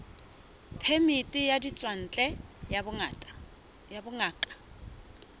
phemiti ya ditswantle ya bongaka